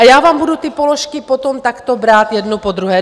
A já vám budu ty položky potom takto brát jednu po druhé.